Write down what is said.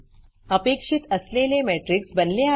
अपेक्षित असलेले matrixमेट्रिक्स बनले आहे